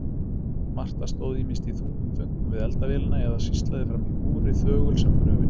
Marta stóð ýmist í þungum þönkum við eldavélina eða sýslaði framí búri þögul sem gröfin.